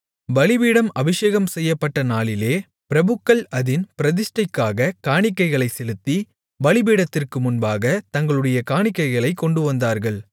பலிபீடம் அபிஷேகம்செய்யப்பட்ட நாளிலே பிரபுக்கள் அதின் பிரதிஷ்டைக்காகக் காணிக்கைகளைச் செலுத்தி பலிபீடத்திற்கு முன்பாகத் தங்களுடைய காணிக்கைகளைக் கொண்டுவந்தார்கள்